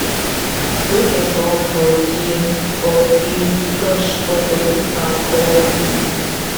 wen dem born for di for di lush congolese town for masisi